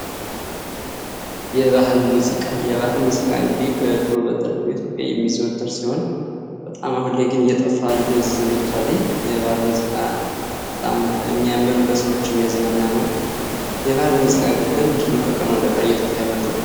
የባህል ሙዚቃ የባህል ሙዚቃ እንግዲህ በድሮ በጥንቱ ኢትዮጵያ የሚዘወትር ሲሆን በጣም አሁን ላይ ግን እየጠፋ እየደበዘዘ መጥቷል። የባህል ሙዚቃ በጣም የሚያምር ለሰዎች የሚያዝናና ነው። የባህል ሙዚቃ ግን ለምንድነው ከቀን ወደ ቀን እየጠፋ የመጣው?